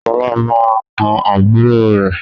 Sọlá máa na àbúrò rẹ